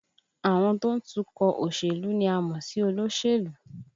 Àwọn tó ń tukọ̀ òṣèlú ni a mọ̀ sí olóṣèlú